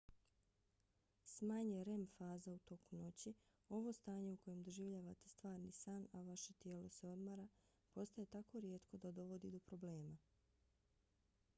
s manje rem faza u toku noći ovo stanje u kojem doživljavate stvarni san a vaše tijelo se odmara postaje tako rijetko da dovodi do problema